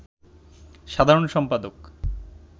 সাধারণ সম্পাদক